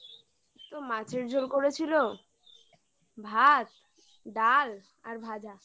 তো মাছের ঝোল করেছিল ভাত ডাল আর ভাজা